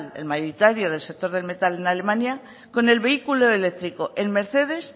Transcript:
el mayoritario del sector del metal en alemania con el vehículo eléctrico en mercedes